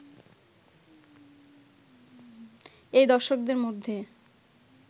এই দর্শকদের মধ্যে